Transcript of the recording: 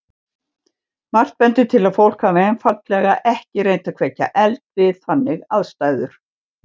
Margt bendir til að fólk hafi einfaldlega ekki reynt að kveikja eld við þannig aðstæður.